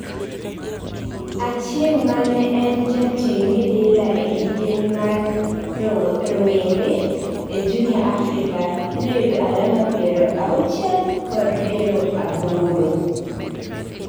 Achieng' mane en jating midila e kidieny mar rowore and Junior Africa noyudo alama piero auchie kod piero aboro.